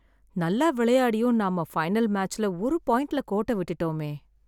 நல்லா விளாண்டும் நம்ம பைனல் மேட்ச்ல ஒரு பாயிண்ட்ல கோட்டை விட்டுட்டோமே.